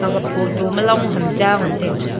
aga photo ma long ham cha ngan taiga.